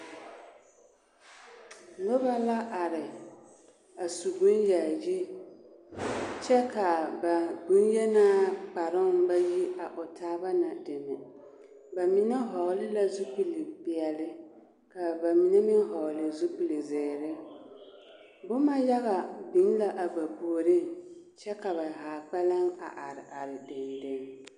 Nobɔ la are a su bon yaayi kyɛ kaa ba bonyenaa kparoŋ ba yi a taaba na deme ba mine hɔɔle la zupile peɛle kaa ba mine meŋ hɔɔle zipilzeere boma yaga biŋ la a ba puoriŋ kyɛ ka ba haa kpɛlɛŋ a are are deŋ deŋ.